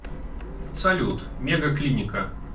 салют мега клиника